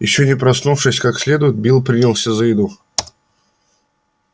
ещё не проснувшись как следует билл принялся за еду